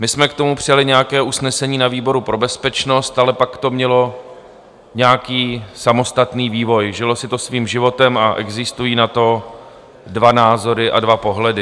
My jsme k tomu přijali nějaké usnesení na výboru pro bezpečnost, ale pak to mělo nějaký samostatný vývoj, žilo si to svým životem a existují na to dva názory a dva pohledy.